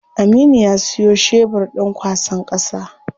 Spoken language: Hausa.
Aminu ya siyo shebur ɗin kwasan ƙasa.